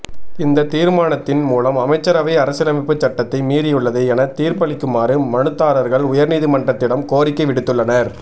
இந்த தீர்மானத்தின் மூலம் அமைச்சரவை அரசியலமைப்புச் சட்டத்தை மீறியுள்ளது என தீர்ப்பளிக்குமாறு மனுதாரர்கள் உயர்நீதிமன்றத்திடம் கோரிக்கை விடுத்துள்ளனர்